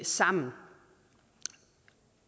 sammen